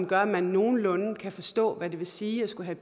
gør at man nogenlunde kan forstå hvad det vil sige at skulle have